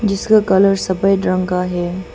जिसका कलर सफेद रंग का है।